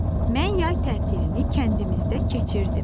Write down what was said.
Mən yay tətilini kəndimizdə keçirdim.